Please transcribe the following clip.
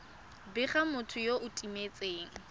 bega motho yo o timetseng